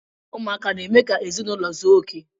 Ụmụaka n- eme ka ezinụlọ zuo okè.